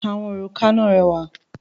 Àwọn òrùka náà rẹwà.